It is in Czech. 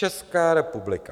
Česká republika.